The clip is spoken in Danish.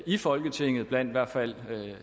i folketinget blandt i hvert fald